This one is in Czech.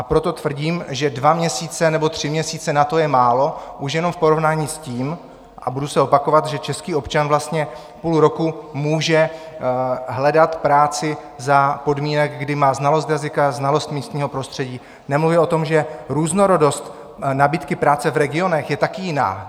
A proto tvrdím, že dva měsíce nebo tři měsíce na to je málo už jenom v porovnání s tím, a budu se opakovat, že český občan vlastně půl roku může hledat práci za podmínek, kdy má znalost jazyka, znalost místního prostředí, nemluvě o tom, že různorodost nabídky práce v regionech je taky jiná.